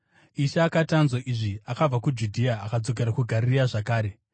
Ishe akati anzwa izvi, akabva kuJudhea akadzokera kuGarirea zvakare.